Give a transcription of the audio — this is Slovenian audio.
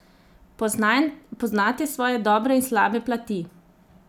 Poznate svoje dobre in slabe plati?